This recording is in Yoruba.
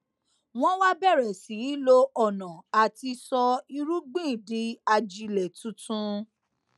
wón wá bèrè sí í lo ònà àti sọ irúgbìn di ajílẹ tuntun